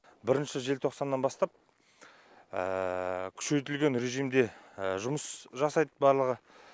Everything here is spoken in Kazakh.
бірінші желтоқсаннан бастап күшейтілген режимде жұмыс жасайды барлығы